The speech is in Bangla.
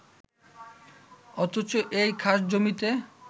অথচ এই খাসজমিতে